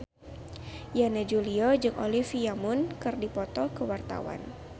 Yana Julio jeung Olivia Munn keur dipoto ku wartawan